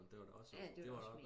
Det var da også